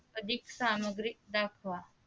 अधिक सामग्रीत दाखवा